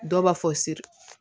Dɔw b'a fɔ siri